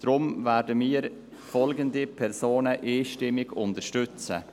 Deshalb werden wir folgende Personen einstimmig unterstützen: